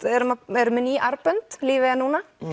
erum með ný armbönd lífið er núna